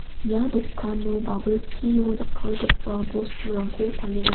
ia dokano babilchio jakkalgipa bosturangko palenga.